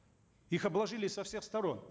их обложили со всех сторон